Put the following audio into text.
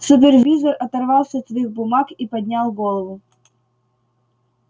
супервизор оторвался от своих бумаг и поднял голову